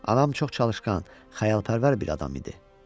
Anam çox çalışqan, xəyalpərvər bir adam idi.